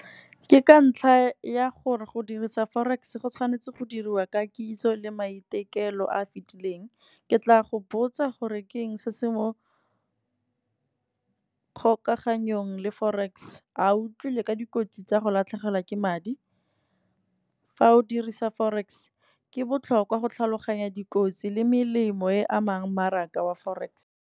Ke ka ntlha ya gore go dirisa forex go tshwanetse go diriwa ka kitso le maitemogelo a a fitileng. Ke tla go botsa gore ke eng se se mo kgokaganyong le forex. A o utlwile ka dikotsi tsa go latlhegelwa ke madi, fa o dirisa forex ke botlhokwa go tlhaloganya dikotsi le melemo e amang mmaraka wa forex.